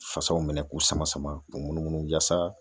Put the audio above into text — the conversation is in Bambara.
Fasaw minɛ k'u sama sama k'u munumunu yaasa